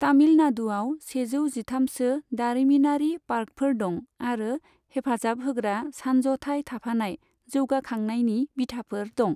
तामिल नादुआव सेजौ जिथामसो दारिमिनारि पार्कफोर दं आरो हेफाजाबहोग्रा सानज'थाय थाफानाय जौगाखांनायनि बिथाफोर दं।